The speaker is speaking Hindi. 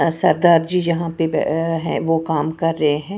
सरदार जी जहां पे बे अ है वो काम कर रहे हैं।